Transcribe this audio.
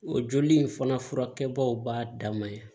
O joli in fana fura kɛbaw b'a dama yan